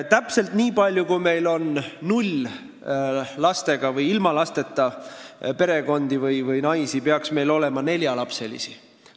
Täpselt nii palju, kui meil on ilma lasteta perekondi või naisi, peaks meil olema neljalapselisi.